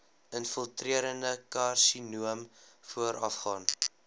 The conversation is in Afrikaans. infiltrerende karsinoom voorafgaan